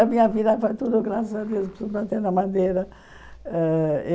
A minha vida foi tudo graças a Deus, tudo bateu na madeira. Ãh